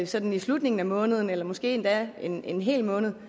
sådan i slutningen af måneden eller måske endda en en hel måned